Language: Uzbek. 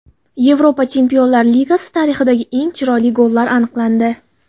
Yevropa Chempionlar Ligasi tarixidagi eng chiroyli gollar aniqlandi .